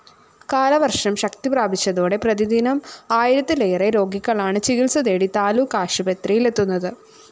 കാലവര്‍ഷം ശക്തിപ്രാപിച്ചതോടെ പ്രതിദിനം ആയിരത്തിലേറെ രോഗികളാണ്‌ ചികിത്സതേടി താലൂക്ക്‌ ആശുപത്രിയിലെത്തുന്നത്‌